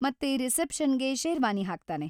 ಮತ್ತೆ ರಿಸೆಪ್ಷನ್‌ಗೆ ಶೇರ್ವಾನಿ ಹಾಕ್ತಾನೆ.